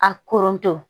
A korontɔ